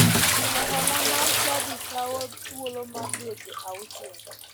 Chulo hola mar chadi kawo thuolo mar dweche auchiel